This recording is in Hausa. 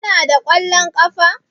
Kana da kwallon ƙafa?